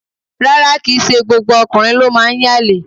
Rárá, kìí ṣe gbogbo ọkùnrin ló máa ń yànlè.